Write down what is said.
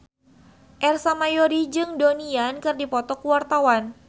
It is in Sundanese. Ersa Mayori jeung Donnie Yan keur dipoto ku wartawan